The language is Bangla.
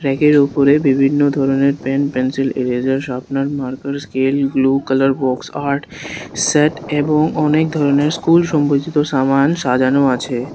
ব্যাগ এর উপরে বিভিন্ন ধরনের pen pencil eraser sharpener marker scale blue colour box art set এবং অনেক ধরনের স্কুল সম্পরিচিত সামান সাজানো আছে।